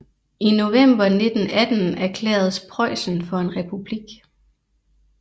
I november 1918 erklæredes Preussen for en republik